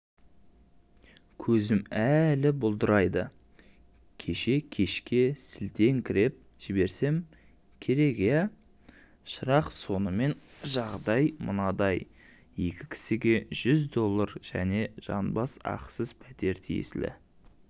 көзім әлі бұлдырайды кеше кешке сілтеңкіреп жіберсем керек иә шырақ сонымен жағдай мынадай екі кісіге жүз доллар және жанбас ақысыз пәтер тиесілі